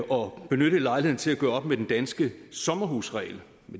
og benyttet lejligheden til at gøre op med den danske sommerhusregel